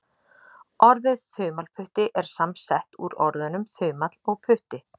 Orðið þumalputti er samsett úr orðunum þumall og putti.